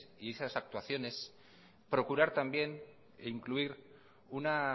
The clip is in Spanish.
y esas actuaciones procurar también incluir una